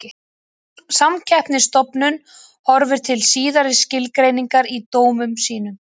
Samkeppnisstofnun horfir til síðari skilgreiningarinnar í dómum sínum.